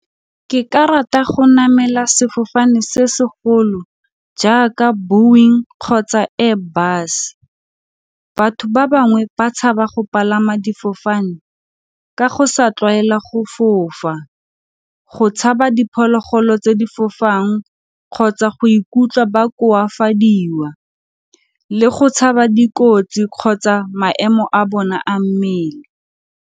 Ke ka rata go namela sefofane se segolo jaaka boeing kgotsa airbus. Batho ba bangwe ba tshaba go palama difofane ka go sa tlwaela go fofa, go tshaba diphologolo tse di fofang kgotsa go ikutlwa ba koafadiwa le go tshaba dikotsi kgotsa maemo a bona a mmele.